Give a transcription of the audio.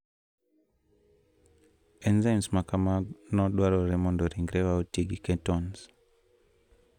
Enzyme ma kamano dwarore mondo ringrewa oti gi ketones.